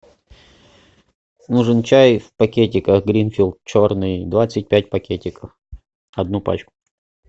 нужен чай в пакетиках гринфилд черный двадцать пять пакетиков одну пачку